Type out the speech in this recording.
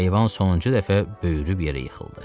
Heyvan sonuncu dəfə böyürüb yerə yıxıldı.